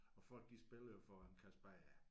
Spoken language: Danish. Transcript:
Og folk de spiller jo for en kasse bajere